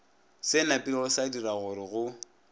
se napilego sadira gorego be